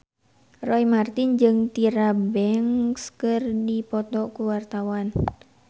Roy Marten jeung Tyra Banks keur dipoto ku wartawan